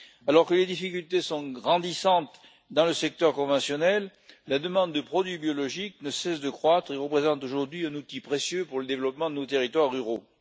Alors que les difficultés sont grandissantes dans le secteur conventionnel, la demande de produits biologiques ne cesse de croître et représente aujourd'hui un outil précieux pour le développement de nos territoires ruraux.